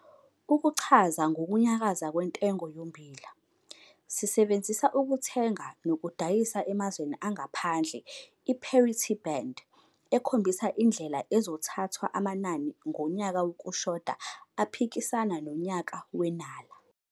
Ukuchaza ngokunyakaza kwentengo yommbila, sisebenzisa ukuthenga nokudayisa emazweni angaphandle i-parity band ekhombisa indlela ezothathwa amanani ngonyaka wokushoda aphikisana nonyaka wenala.